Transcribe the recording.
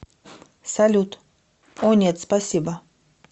салют о нет спасибо